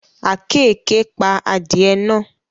Àkekèé pa adìẹ náà